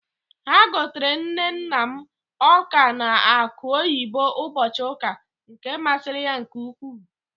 Ha gotere nne nna m ọ́ka na akụ oyibo ụbọchị ụka, nke masịrị ya nke ukwuu.